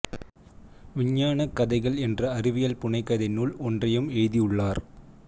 விஞ்ஞானக் கதைகள் என்ற அறிவியல் புனைகதை நூல் ஒன்றையும் எழுதியுள்ளார்